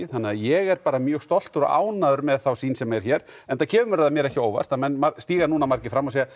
þannig að ég er bara mjög stoltur og ánægður með þá sýn sem er hér enda kemur það mér ekki á óvart að menn stígi nú margir fram og segi að